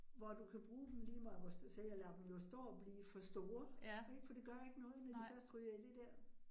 Hvor du kan bruge dem lige meget, hvor sagde jeg lader dem jo stå og blive for store, ik fordi det gør ikke noget, når de først ryger i det dér